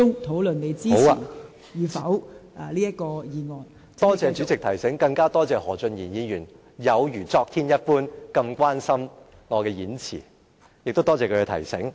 多謝代理主席提醒，更多謝何俊賢議員有如昨天一般那麼關心我的演辭，亦多謝他的提醒。